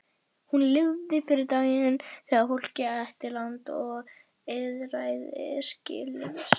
Hún lifði fyrir daginn þegar fólkið ætti land og lýðræði skilyrðislaust.